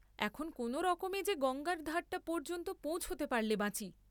এখন কোনরকমে যে গঙ্গার ধারটা পর্য্যন্ত পৌঁছতে পারলে বাঁচি।